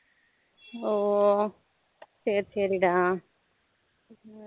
oh சரி சரி டா